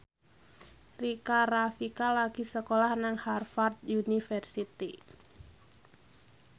Rika Rafika lagi sekolah nang Harvard university